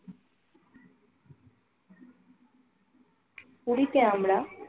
পুরিতে আমরা